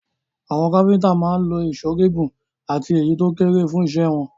Àwọn kápẹ́ńtà máa ń lo ìṣó gígùn àti èyí tó kéré fún iṣẹ́ wọn.